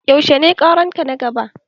Yaushe ne ƙaran ka na gaba?